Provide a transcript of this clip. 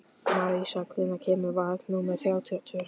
Marísa, hvenær kemur vagn númer þrjátíu og tvö?